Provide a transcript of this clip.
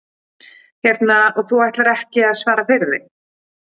Hérna, og þú ætlar ekki að svara fyrir þig?